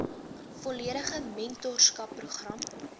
volledige mentorskap program